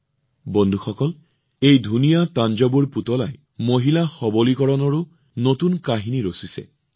অৱশ্যে বন্ধুসকল এই থাঞ্জাভুৰ পুতলা যিমান ধুনীয়া তেনে সৌন্দৰ্যৰেই ই মহিলাৰ সৱলীকৰণৰ এক নতুন কাহিনীও লিখি আছে